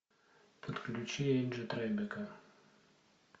подключи энджи трайбека